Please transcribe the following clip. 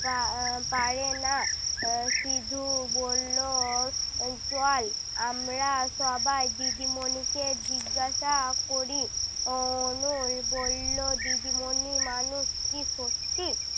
পা আহ পারে না আহ সিধু বললো, চল আমরা সবাই দিদিমনিকে জিজ্ঞাসা করি। অনল বললো, দিদিমনি মানুষ কি সত্যি?